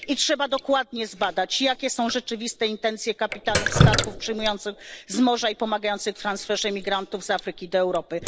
I trzeba dokładnie zbadać, jakie są rzeczywiste intencje kapitanów statków przyjmujących z morza i pomagających w transferze imigrantów z Afryki do Europy.